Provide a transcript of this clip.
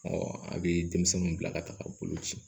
a bɛ denmisɛnninw bila ka taga bolo ci